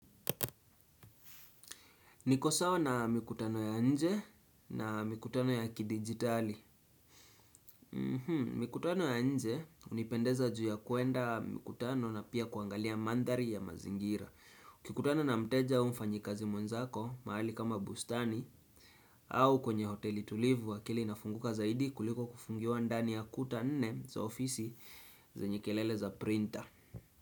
Nikosawa na mikutano ya nje na mikutano ya kidigitali. Mikutano ya nje unipendeza juu ya kuenda mikutano na pia kuangalia mandhari ya mazingira. Ukikutana na mteja au mfanyikazi mwenzako mahali kama bustani au kwenye hoteli tulivu akili inafunguka zaidi kuliko kufungiwa ndani ya kuta nne za ofisi zenye kelele za printer.